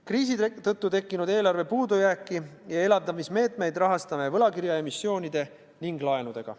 Kriisi tõttu tekkinud eelarve puudujääki ja elavdamismeetmeid rahastame võlakirjaemissioonide ning laenudega.